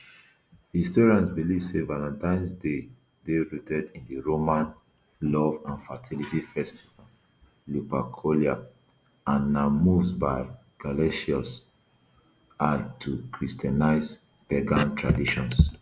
historians believe say valentines day dey rooted in di roman love and fertility festival lupercalia and na move by gelasius i to christianise pagan traditions